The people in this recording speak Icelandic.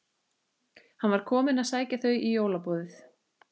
Hann var kominn að sækja þau í jólaboðið.